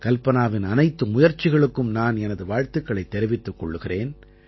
கல்பனாவின் அனைத்து முயற்சிகளுக்கும் நான் எனது வாழ்த்துக்களைத் தெரிவித்துக் கொள்கிறேன்